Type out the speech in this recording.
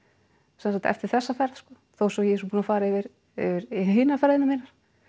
sem sagt eftir þessa ferð sko þó svo ég sé búin að fara yfir hinar ferðirnar mínar